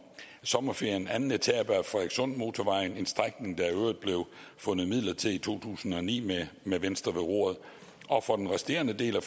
sommerferien anden etape af frederikssundmotorvejen en strækning der i øvrigt blev fundet midler til i to tusind og ni med med venstre ved roret og for den resterende del af